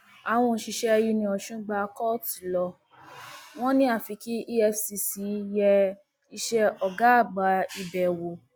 àwọn òṣìṣẹ uniosun gba kóòtù lọ wọn ni àfi kí efcc yẹ iṣẹ ọgáàgbà ibẹ wò